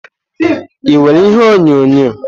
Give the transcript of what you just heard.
Ị nwere ihe onyonyo?